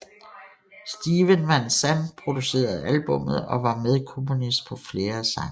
Steven Van Zandt producerede albummet og var medkomponist på flere af sangene